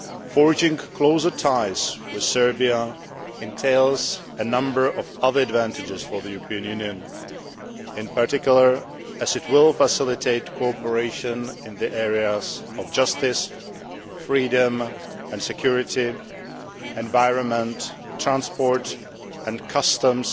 Forging closer ties with Serbia entails a number of other advantages for the European Union in particular, as it will facilitate cooperation in the areas of justice, freedom and security, the environment, transport and customs,